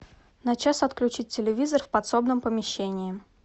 на час отключить телевизор в подсобном помещении